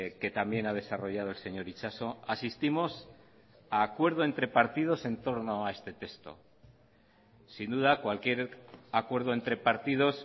que también ha desarrollado el señor itxaso asistimos a acuerdo entre partidos entorno a este texto sin duda cualquier acuerdo entre partidos